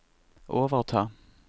overta